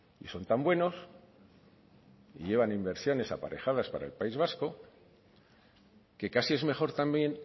y son tan buenos y llevan inversiones aparejadas para el país vasco que casi es mejor también